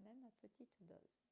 même à petites doses